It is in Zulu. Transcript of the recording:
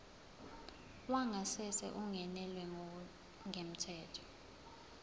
wangasese ungenelwe ngokungemthetho